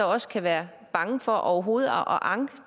også kan være bange for overhovedet at anke